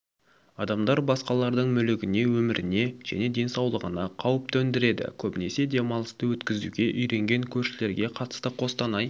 адамдар басқалардың мүлігіне өміріне және денсаулығына қауіп төңдіреді көбінесе демалысты өткізуге үйренген көршілерге қатысты қостанай